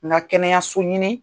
Na kɛnɛyaso ɲini